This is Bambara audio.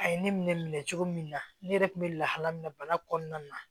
A ye ne minɛ cogo min na ne yɛrɛ kun bɛ lahala min na bana kɔnɔna na